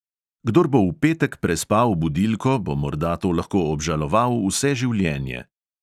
Kdor bo v petek prespal budilko, bo morda to lahko obžaloval vse življenje.